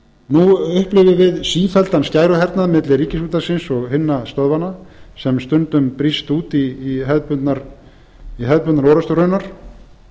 nú upplifum við sífelldan skæruhernað milli ríkisútvarpsins og hinna stöðvanna sem stundum brýst út í hefðbundnar or aftur raunar